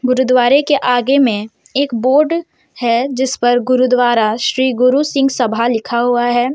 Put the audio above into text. गुरुद्वारे के आगे में एक बोर्ड है जीस पर गुरुद्वारा श्री गुरु सिंह सभा लिखा हुआ है।